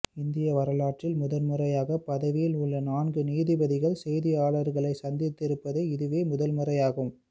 இந்திய வரலாற்றில் முதன்முறையாக பதவியில் உள்ள நான்கு நீதிபதிகள் செய்தியாளர்களை சந்தித்திருப்பது இதுவே முதல்முறையாகும்